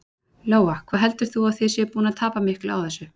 Lóa: Hvað heldur þú að þið séuð að búin að tapa miklu á þessu?